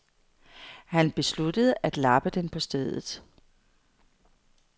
Han besluttede at lappe den på stedet.